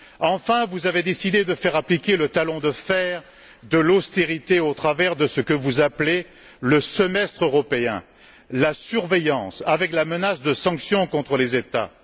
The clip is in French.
Enfin, vous avez décidé de faire appliquer le talon de fer de l'austérité au travers de ce que vous appelez le semestre européen, la surveillance, avec la menace de sanctions contre les États.